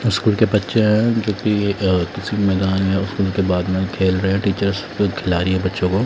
school के बच्चे हैं जोकि एक किसी मैदान या स्कूल के बाग में खेल रहे हैं टीचर्स खेला रही हैं बच्चों को--